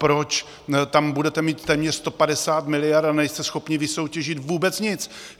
Proč tam budete mít téměř 150 miliard, a nejste schopni vysoutěžit vůbec nic?